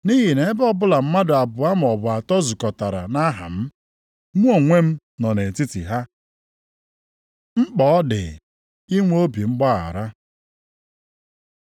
Nʼihi na ebe ọbụla mmadụ abụọ maọbụ atọ zukọtara nʼaha m, mụ onwe m nọ nʼetiti ha.” Mkpa ọ dị inwe obi mgbaghara